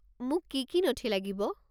মোক কি কি নথি লাগিব?